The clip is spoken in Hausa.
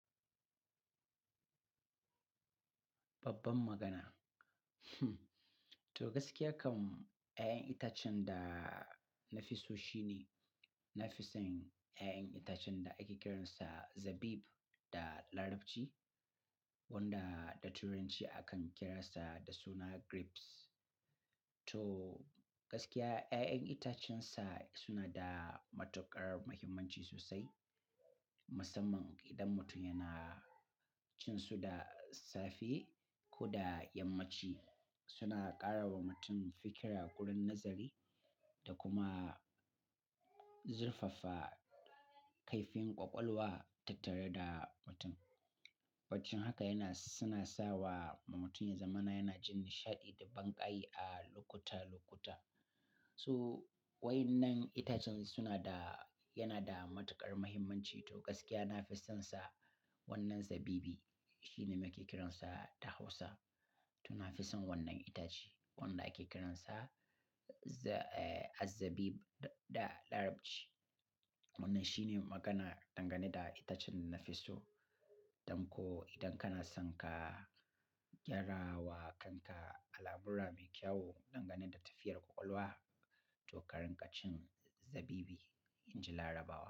Babban magana. To gaskiya kam, 'ya'yan itacen da na fi so shine, na fi son 'ya'yan itacen da ake kiransa zabib da Larabci wanda da Turanci akan kira sa da suna grapes. To gaskiya 'ya'yan itacen sa suna da matuƙar muhimmanci sosai. Musamman idan mutum yana cin su da safe ko da yammaci, suna ƙara wa mutum fikira, gurin nazari da kuma zurfafa kaifin ƙwaƙwalwa tattare da mutum. Baccin haka suna sa wa mutum ya zama na yana jin nishaɗi da banƙayi a lokuta-lokuta. So wai yannan itacen suna da, yana da matuƙar muhimmanci. To gaskiya na fi son sa wannan zabibi. Shi ne muke kiransa da Hausa. To na fi son wannan itace wanda ake kiransa za-- eh, az-zabib da Larabci. Wannan shine magana dangane da itacen nafi so. Don ko idan kana son ka gyara wa kanka al'amura mai kyau dangane da tafiyar ƙwaƙwalwa, to karin ka cin zabibi, in ji Larabawa.